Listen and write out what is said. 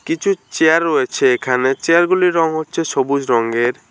কিছু চেয়ার রয়েছে এখানে চেয়ারগুলির রং হচ্ছে সবুজ রংয়ের।